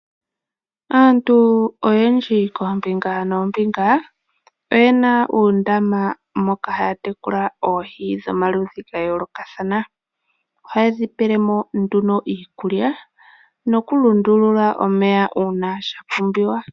Aantu oyendji koombinga noombinga oyena uundama moka haya tekula oohi dhomaludhi gayoolokathana. Ohaye dhipelemo nduno iikulya nokulundulula omeya uuna shapumbiwa.